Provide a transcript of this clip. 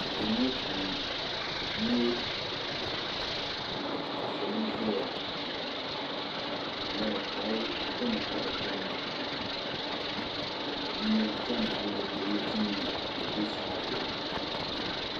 Anfooni ŋɔ puuni nyɛ ka salo zɛ ya ka di yɛla kali diɛma ka bi damda ka yino diɛm hali ka o ni ti yɛm ka o bɛ saa zuɣu.